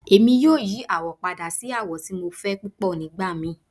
Emi yoo yi awọ pada si awọ ti Mo fẹ pupọ nigbamii